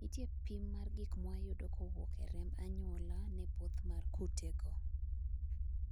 nitie pim mar gik mwayudo kowuok e remb anyuola ne both mar kutego